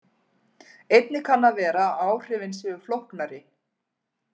Einnig kann að vera að áhrifin séu flóknari.